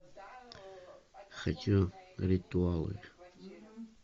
хочу ритуалы